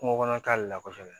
Kungo kɔnɔ ta le la kosɛbɛ